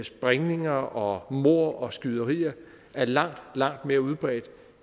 sprængninger og mord og skyderier er langt langt mere udbredt